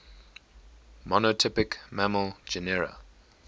monotypic mammal genera